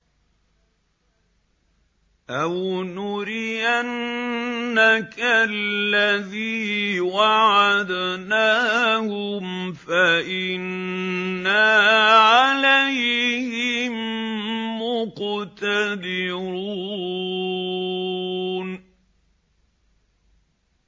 أَوْ نُرِيَنَّكَ الَّذِي وَعَدْنَاهُمْ فَإِنَّا عَلَيْهِم مُّقْتَدِرُونَ